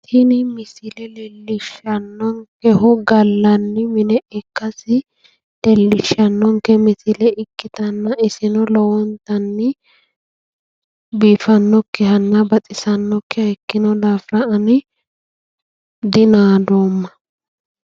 Tini misile leellishshannonkehu gallanni mine ikkasi leellishshannonke misile ikkitanna iseno lowontanni biifannokkihanna baxissannokkiha ikkino daafira ani dinaadoomma.